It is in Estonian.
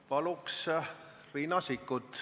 Palun, Riina Sikkut!